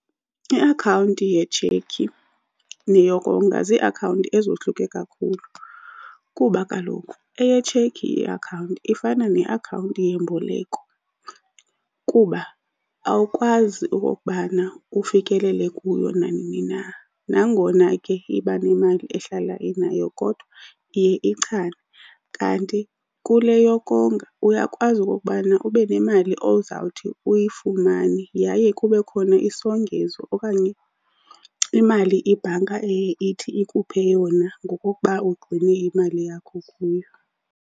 Iakhawunti yetshekhi neyokonga ziiakhawunti ezohluke kakhulu kuba kaloku eyetshekhi iakhawunti ifana neakhawunti yemboleko kuba awukwazi ukokubana ufikelele kuyo nanini na. Nangona ke iba nemali ehlala inayo, kodwa iye ichane. Kanti kule yokonga uyakwazi okokubana ube nemali ozawuthi uyifumane yaye kube khona isongezo okanye imali ibhanka eye ithi ikuphe yona ngokokuba ugcine imali yakho kuyo.